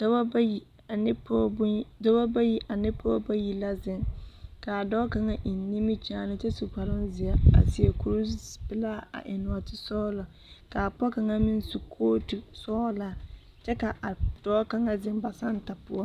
Dɔbɔ bayi ane pɔɔ bonye dɔbɔ bayi ane pɔɔ bayi la zeŋ kaa dɔɔ kaŋa eŋ nimikyaane kyɛ su kparoŋzeɛ seɛ kurisɔglaa a eŋ nɔɔte sɔglɔ kaa pɔge kaŋa meŋ su kootu sɔglaa kyɛ ka a dɔɔ kaŋa zeŋ ba santa poɔ.